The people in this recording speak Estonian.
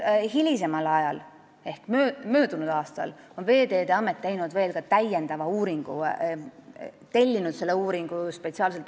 Hilisemal ajal, möödunud aastal tegi Veeteede Amet veel täiendava uuringu, spetsiaalselt tellis selle uuringu.